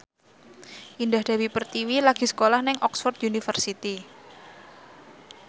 Indah Dewi Pertiwi lagi sekolah nang Oxford university